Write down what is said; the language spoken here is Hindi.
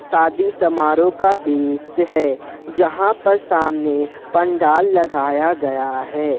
शादी समारोह का दृश्य है जहां पर सामने पंडाल लगाया गया है।